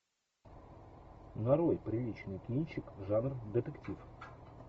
нарой приличный кинчик жанр детектив